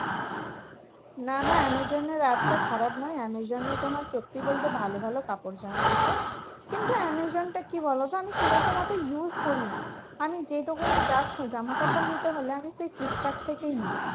না না আমাজনের apps টা খারাপ নয়। আমাজোনে তোমার সত্যি বলতে ভালো ভালো কাপড় জামা আছে। কিন্তু আমাজনটা কি বলতো? আমি সেরকম অত use করি না। আমি যেইরকম যা জামাকাপড় নিতে হলে আমি সেই ফ্লিপকার্ড থেকেই নিই।